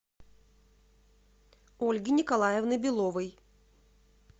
ольги николаевны беловой